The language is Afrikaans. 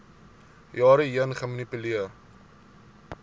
jare heen gemanipuleer